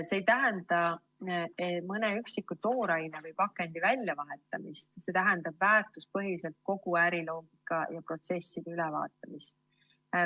See ei tähenda mõne üksiku tooraine või pakendi väljavahetamist, see tähendab väärtuspõhiselt kogu äriloogika ja ‑protsesside ülevaatamist.